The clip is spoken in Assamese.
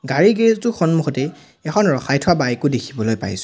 গাড়ীৰ গেৰেজ টোৰ সন্মুখতেই এখন ৰখাই থোৱা বাইক ও দেখিবলৈ পাইছোঁ।